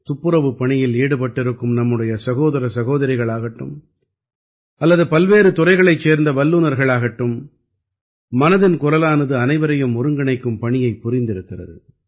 துப்புரவுப் பணியில் ஈடுபட்டிருக்கும் நம்முடைய சகோதர சகோதரிகள் ஆகட்டும் அல்லது பல்வேறு துறைகளைச் சேர்ந்த வல்லநர்கள் ஆகட்டும் மனதின் குரலானது அனைவரையும் ஒருங்கிணைக்கும் பணியைப் புரிந்திருக்கிறது